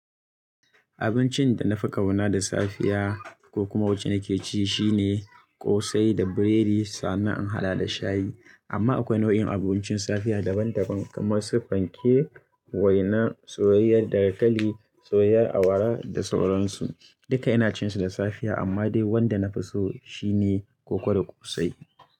Abincin da na fi kauna da safiya, ko kuma wacce nake ci shine, ƙosai da biredi, sannan in hada da shayi. Amma akwai nau'in abincin safiya daban-daban kamar su fanke, waina, soyayyar dankali, soyayyar awara, da sauran su. Duka ina cin su da safiya amma dai wanda na fi so, shi ne koko da ƙosai.